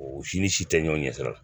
O si ni si tɛ ɲɔgɔn ɲɛ sira la